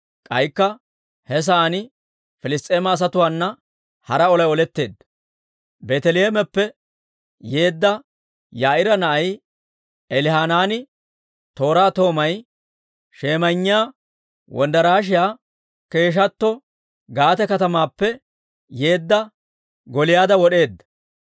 K'aykka he sa'aan Piliss's'eema asatuwaana hara olay oletteedda; Beeteleheemeppe yeedda Yaa'iira na'ay Elihanaani, tooraa toomay shemayinniyaa wonddarashiyaa keeshshatto, Gaate katamaappe yeedda Gooliyaada wod'eedda.